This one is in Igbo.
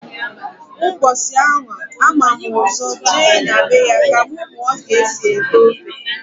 Mbọsi anwa a mam ụzọ je na be ya ka m muo k'esi ete ofe.